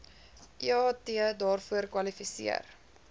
eat daarvoor kwalifiseer